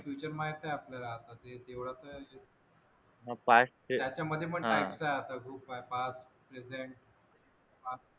future माहित आहे आपल्याला आता ते तेवढं तर येते त्याच्यामध्ये पण type आहे आता खूप आहे past present